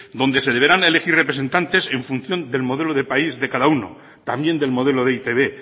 donde se deberán elegir representantes en función del modelo del país de cada uno también del modelo de e i te be